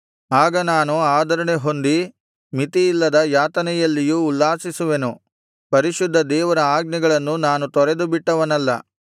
ಆಗ ನಾನು ಆದರಣೆ ಹೊಂದಿ ಮಿತಿಯಿಲ್ಲದ ಯಾತನೆಯಲ್ಲಿಯೂ ಉಲ್ಲಾಸಿಸುವೆನು ಪರಿಶುದ್ಧ ದೇವರ ಆಜ್ಞೆಗಳನ್ನು ನಾನು ತೊರೆದುಬಿಟ್ಟವನಲ್ಲ